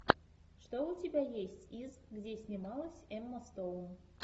что у тебя есть из где снималась эмма стоун